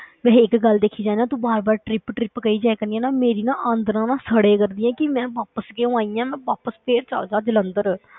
ਵੈਸੇ ਇੱਕ ਗੱਲ ਦੇਖੀ ਜਾਏ ਨਾ ਤੂੰ ਬਾਰ ਬਾਰ trip trip ਕਹੀ ਜਾਇਆ ਕਰਦੀ ਆਂ ਨਾ, ਮੇਰੀ ਨਾ ਆਂਦਰਾਂ ਨਾ ਸੜਿਆ ਕਰਦੀ ਹੈ ਕਿ ਮੈਂ ਵਾਪਸ ਕਿਉਂ ਆਈ ਹਾਂ, ਮੈਂ ਵਾਪਸ ਫਿਰ ਚਲੇ ਜਾਵਾਂ ਜਲੰਧਰ।